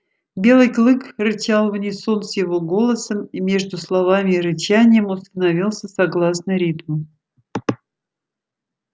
белый клык рычал в унисон с его голосом и между словами и рычанием установился согласный ритм